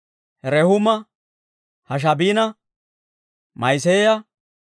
Rehuuma, Hashaabina, Ma'iseeya,